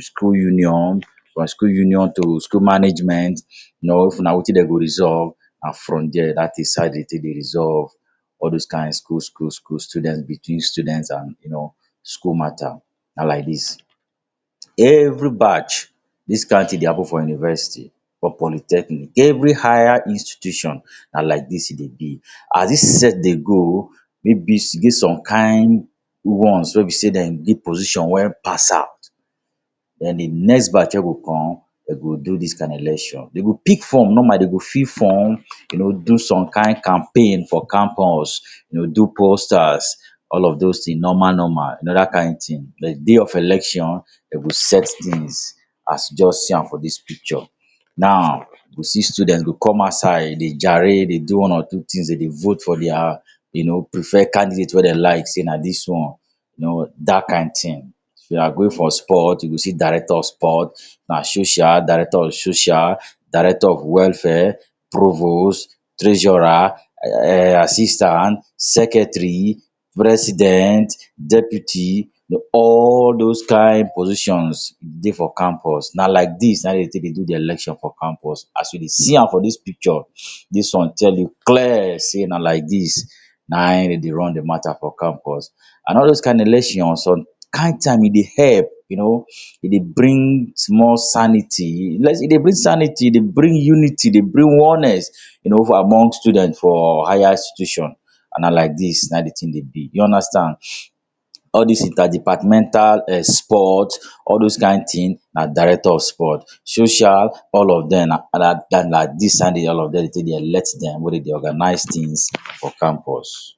school union, from school union to school management, you know. If na wetin dem go resolve and from there that is how dem take dey resolve all those kind school school school students between students and you know, school matter na like dis. Every batch, dis kind thing dey happen for university or polytechnic. Every higher institution na like dis e dey be. As dis set dey go, maybe e get some kind ones wey be sey dem dey position wey pass out, then di next batch wey go come, dem go do dis kind election. Dem go pick form normal. Dem go fill form, you know, do some kind campaign for campus, dem go do posters. All of those thing normal normal. You know that kind thing. Then, de day of election now, dem go set things as you just see am for dis picture. Now, you go see students go come outside, dey gyrate, dey do one or two things, dem dey vote for dia you know, preferred candidate wey dem like sey na dis one. You know, that kind thing. If you are going for sport, you go see director of sport. Na social, director of social. Director of welfare, provost, treasurer, um assistant, secretary, president, deputy, all those kind positions dey for campus. Na like dis na dem take dey do di election for campus. As you dey see am for dis picture, dis one tell you clear sey na like na in dem dey run de matter for campus. And all those kind election, some kind time e dey help you know, e dey bring small sanity. e dey bring sanity. E dey bring unity, dey bring oneness you know, for among students for higher institution. And na like dis na de thing dey be. You understand. All dis interdepartmental um sport, all those kind thing na director of sport, social, all of dem na na dis all of dem dey all of dem dey take dey elect them wegy dem dey organize things for campus.